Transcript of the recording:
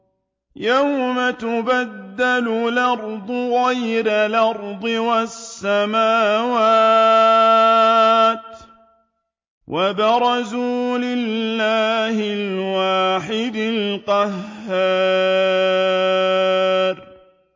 يَوْمَ تُبَدَّلُ الْأَرْضُ غَيْرَ الْأَرْضِ وَالسَّمَاوَاتُ ۖ وَبَرَزُوا لِلَّهِ الْوَاحِدِ الْقَهَّارِ